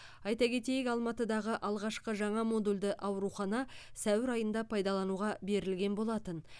айта кетейік алматыдағы алғашқы жаңа модульді аурухана сәуір айында пайдалануға берілген болатын